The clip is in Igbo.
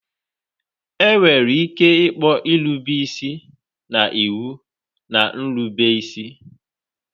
Enwere ike ịkpọ irube isi na iwu na nrube isi.